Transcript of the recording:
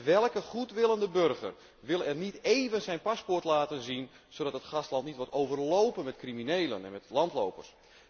Welke goedwillende burger wil er niet even zijn paspoort laten zien, zodat het gastland niet wordt overlopen door criminelen en landlopers?